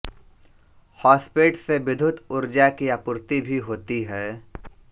हौसपेट से विद्युत ऊर्जा की आपूर्ति भी होती है